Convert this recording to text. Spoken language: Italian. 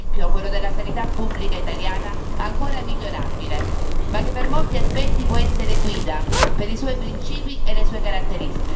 Un esempio, quello della sanità pubblica italiana ancora migliorabile, ma che per molti aspetti, può essere guida per i suoi principi e le sue caratteristiche.